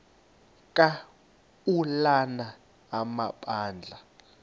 ka ulana amabandla